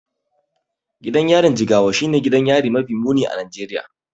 Gidan yarin Jigawa shine gidan yari mafi muni a Najeriya.